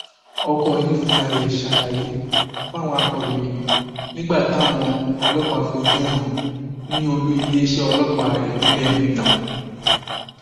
ọkọ yìí fúnra ẹ ṣàlàyé fáwọn akòròyìn nígbà táwọn ọlọpàá fojú ẹ hàn ní olú iléeṣẹ ọlọpàá ìpínlẹ minna